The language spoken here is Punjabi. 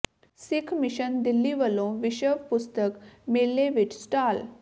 ਸਿੱਖ ਮਿਸ਼ਨ ਦਿੱਲੀ ਵੱਲੋਂ ਵਿਸ਼ਵ ਪੁਸਤਕ ਮੇਲੇ ਵਿੱਚ ਸਟਾਲ